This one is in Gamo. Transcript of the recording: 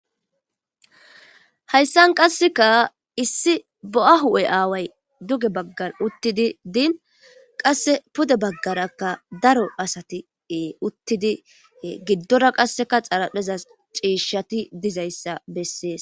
Hayisan qaseka issi bo'a huphe away duge bagara utini pude baganra daro asati utini gidoraka qasi xariphezan cishati dizayisa beses